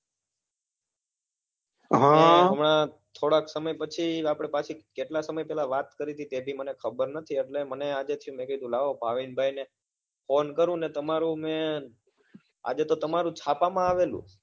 હમણાં થોડાક સમય પછી તમે પહેલા વાત કરેલી હતી એની મને ખબર નથી તો મને થયું આજે ચલો ભાવિનભાઈને ફોન કરું અને તમારું મેં આજે છાપા માં આવેલું